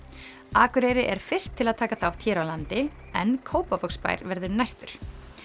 Akureyri er fyrst til að taka þátt hér á landi en Kópavogsbær verður næstur